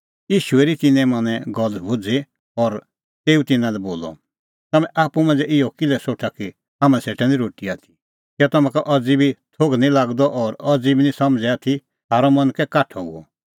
ईशू हेरी तिन्नें मनें गल्ल भुझ़ी और तेऊ तिन्नां लै बोलअ तम्हैं आप्पू मांझ़ै इहअ किल्है सोठा कि हाम्हां सेटा निं रोटी आथी कै तम्हां अज़ी बी थोघ निं लागअ और अज़ी बी निं समझ़ै आथी थारअ मन कै काठअ हुअ